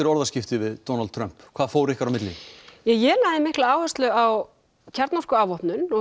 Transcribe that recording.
orðaskipti við Donald Trump hvað fór ykkur á milli ég lagði mikla áherslu á kjarnorkuafvopnun og